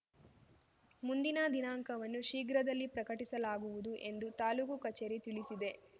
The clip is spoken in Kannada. ಮುಂದಿನ ದಿನಾಂಕವನ್ನು ಶೀಘ್ರದಲ್ಲಿ ಪ್ರಕಟಿಸಲಾಗುವುದು ಎಂದು ತಾಲೂಕು ಕಚೇರಿ ತಿಳಿಸಿದೆ